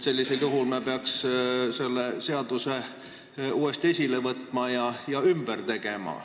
Sellisel juhul me peaks selle seaduse uuesti esile võtma ja ümber tegema.